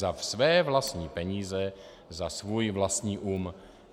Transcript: Za své vlastní peníze, za svůj vlastní um.